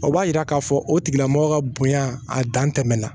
O b'a yira k'a fɔ o tigila mɔgɔ ka bonya a dan tɛmɛn na